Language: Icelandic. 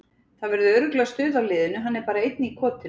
Það verður örugglega stuð á liðinu, hann er bara einn í kotinu.